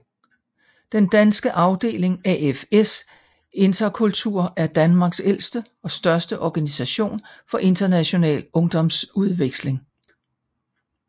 Den danske afdeling AFS Interkultur er Danmarks ældste og største organisation for international ungdomsudveksling